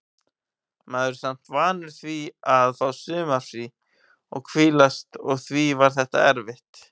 Maður er samt vanur því að fá sumarfrí og hvílast og því var þetta erfitt.